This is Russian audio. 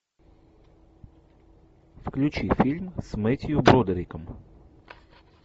включи фильм с мэттью бродериком